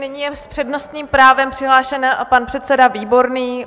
Nyní je s přednostním právem přihlášený pan předseda Výborný.